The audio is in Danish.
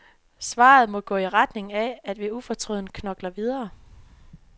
Svaret må gå i retning af, at vi ufortrødent knokler videre.